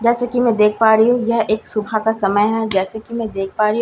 जैसे की मैं देख पा रही हूँ यह एक सुबह का समय हैं जैसे की मैं देख पा रही हूँ --